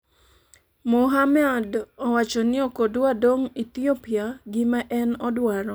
Muhamad owacho ni ok odwa dong' Ethiopia, gima en odwaro